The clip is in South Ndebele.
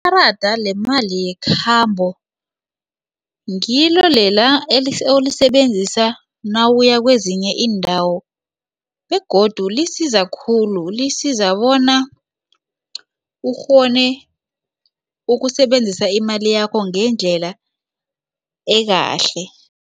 Ikarada lemali yekhambo ngilo lela olisebenzisa nawuya kwezinye iindawo begodu lisiza khulu lisiza bona ukghone ukusebenzisa imali yakho ngendlela ekahle.